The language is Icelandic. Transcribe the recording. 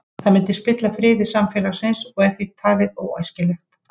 Það myndi spilla friði samfélagsins og er því talið óæskilegt.